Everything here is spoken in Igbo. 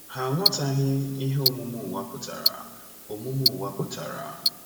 Ha aghọtaghị ihe omume ụwa pụtara. omume ụwa pụtara.